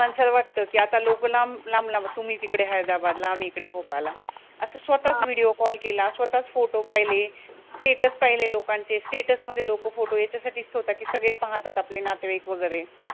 माणसाला वाटतं कि आता लोकं लांब लांब लांब, तुम्ही तिकडे हैदराबाद ला, आम्ही इकडे भोपाळ ला असं स्वतःच video call केला स्वतःच photo पहिले status पहिले लोकांचे status मध्ये लोकं photo याचसाठी ठेवतात कि सगळे पाहतात आपले नातेवाईक वेगैरे